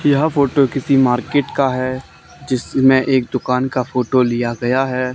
यह फोटो किसी मार्केट का हैं जिसमें एक दुकान का फोटो लिया गया हैं।